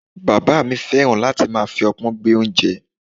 Bàbá mi fẹ́ràn láti máa fi opon gbé oúnjẹ.